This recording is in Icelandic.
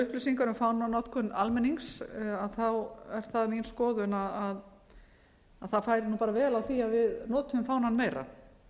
upplýsingar um fánanotkun almennings þá fer bara vel á því að við notuðum fánann meira